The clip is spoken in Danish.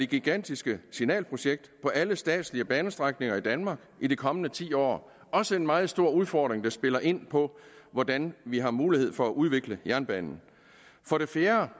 gigantiske signalprojekt på alle statslige banestrækninger i danmark i de kommende ti år det også en meget stor udfordring der spiller ind på hvordan vi har mulighed for at udvikle jernbanen for det fjerde